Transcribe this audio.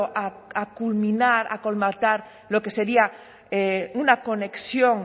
a culminar a colmatar lo que sería una conexión